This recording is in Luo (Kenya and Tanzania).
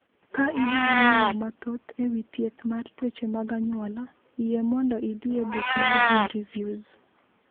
Ka idwaro ng’eyo mathoth e wi thieth mar tuoche mag anyuola, yie mondo idhi e buk mar GeneReviews.